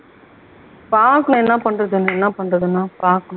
பாக்கலாம் என்ன பண்றதுன்னு, என்ன பண்றதுன்னா? பாக்கணும்